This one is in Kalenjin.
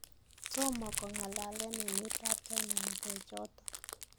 tomo kongalalen emet ab China ngalek choton